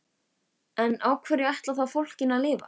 En á hverju ætlarðu þá fólkinu að lifa?